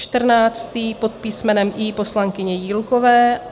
Čtrnáctý pod písmenem I poslankyně Jílkové.